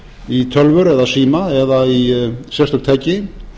í tölvur eða síma eða í sérstök tæki